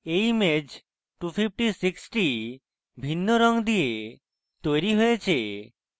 এই image 256 টি ভিন্ন রঙ দিয়ে তৈরী হয়েছে